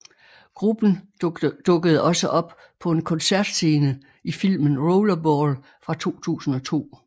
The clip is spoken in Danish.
Gruppen dukkede også op på en koncertscene i filmen Rollerball fra 2002